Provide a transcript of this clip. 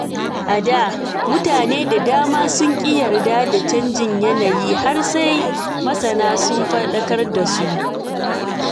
A da, mutane da dama sun ki yarda da canjin yanayi har sai masana sun fadakar da su.